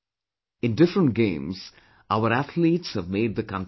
In different games, our athletes have made the country proud